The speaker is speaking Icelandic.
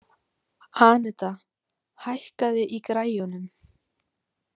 Anita, hækkaðu í græjunum.